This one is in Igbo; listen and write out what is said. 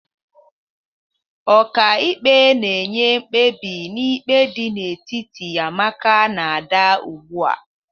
Ọka ikpe na-enye mkpebi n'ikpe dị n'etiti Amaka na Ada ugbua.